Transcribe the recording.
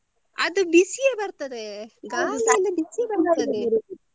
ಅದು ಬಿಸಿಯೇ ಬರ್ತದೆ ಗಾಳಿ ಎಲ್ಲ ಬಿಸಿಯೇ ಬರ್ತದೆ.